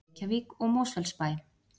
Reykjavík og Mosfellsbæ.